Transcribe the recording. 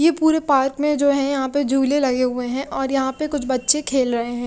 ये पूरे पार्क में जो है यहां पे झूले लगे हुए हैं और यहां पे कुछ बच्चे खेल रहे हैं।